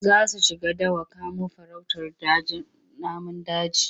Za su shiga dawa kamo farautar namun daji.